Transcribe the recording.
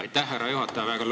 Aitäh, härra juhataja!